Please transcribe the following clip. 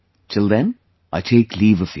Till then, I take leave of you